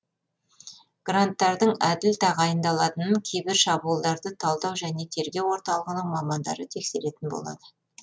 гранттардың әділ тағайындалатынын кибер шабуылдарды талдау және тергеу орталығының мамандары тексеретін болады